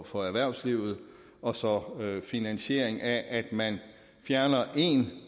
for erhvervslivet og så finansieringen af det at man fjerner en